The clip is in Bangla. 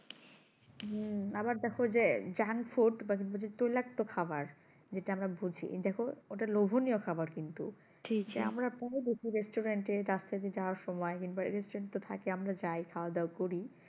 হুম আবার দেখো যে junk food পাশাপাশি তৈলাক্ত খাবার যেটা আমরা বুঝি দেখো ওটা লোভনীয় খাবার কিন্তু যে আমরা দোষী restaurant এ রাস্তা দিয়ে যাওয়ার সময় কিংবা restaurant তো থাকে আমরা যাই খাওয়া দাওয়া করি